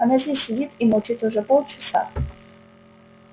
она здесь сидит и молчит уже полчаса